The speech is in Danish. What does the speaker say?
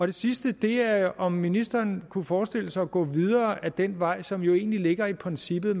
det sidste er om ministeren kunne forestille sig at gå videre ad den vej som jo egentlig ligger i princippet